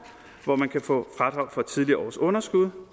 hvor man kan få fradrag for tidligere års underskud